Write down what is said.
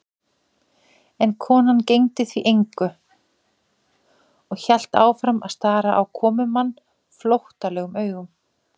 En konan gegndi því engu og hélt áfram að stara á komumann flóttalegum augum.